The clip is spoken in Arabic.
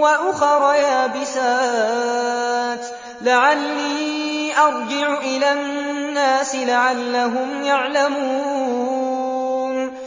وَأُخَرَ يَابِسَاتٍ لَّعَلِّي أَرْجِعُ إِلَى النَّاسِ لَعَلَّهُمْ يَعْلَمُونَ